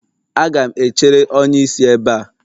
Aga m echere onye isi ebe a.